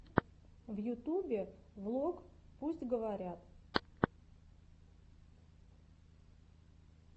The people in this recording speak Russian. в ютубе влог пусть говорят